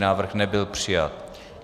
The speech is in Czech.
Návrh nebyl přijat.